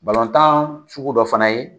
tan sugu dɔ fana ye